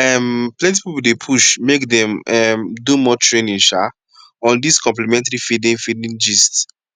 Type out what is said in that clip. um plenty people dey push make dem um do more training um on dis complementary feeding feeding gist